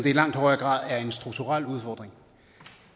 i langt højere grad er en strukturel udfordring